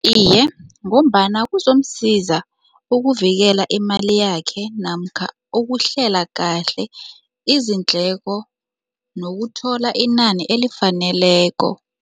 Iye, ngombana kuzomsiza ukuvikela imali yakhe namkha ukuhlela kahle izindleko nokuthola inani elifaneleko.